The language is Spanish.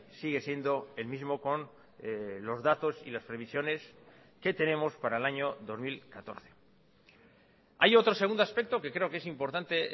sigue siendo el mismo con los datos y las previsiones que tenemos para el año dos mil catorce hay otro segundo aspecto que creo que es importante